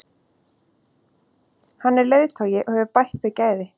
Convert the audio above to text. Hann er leiðtogi og hefur bætt þau gæði.